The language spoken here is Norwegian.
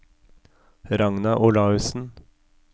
Ragna Olaussen